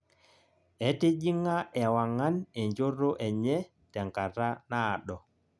etijing'a ewang'an enjoto enye tenkata naado